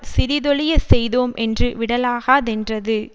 சிறிதொழியச் செய்தோமென்று விடலாகாதென்றது